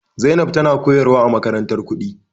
Zainab tana koyarwa a makarantar kuɗi.